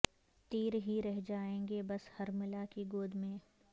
تیر ہی رہ جائیں گے بس حرملہ کی گود میں